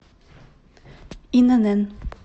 инн